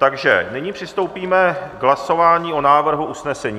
Takže nyní přistoupíme k hlasování o návrhu usnesení.